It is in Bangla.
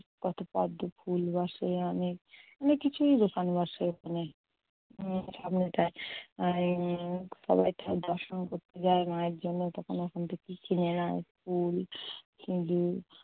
কতো পদ্ম ফুল বসে আনে। অনেক কিছুরই দোকান বসে ওখানে মন্দিরের সামনেটায়। মায়ের উম দর্শন করতে যায় মায়ের জন্য। তখন ওখান থেকে কিছু ফুল, দুধ